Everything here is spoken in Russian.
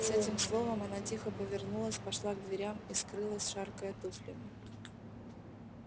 с этим словом она тихо повернулась пошла к дверям и скрылась шаркая туфлями